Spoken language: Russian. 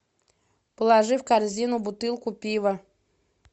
положи в корзину бутылку пива